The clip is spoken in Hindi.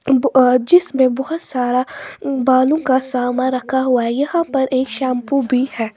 जिसमें बोहोत सारा बालों का सामान रखा हुआ हैं यहां पर एक शैंपू भी हैं।